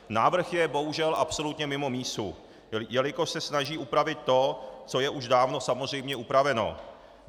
Návrh je bohužel absolutně mimo mísu, jelikož se snaží upravit to, co je už dávno samozřejmě upraveno.